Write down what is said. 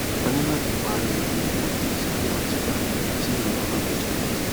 ani lati pare iru ipo bi sciatica ti irora ba tesiwaju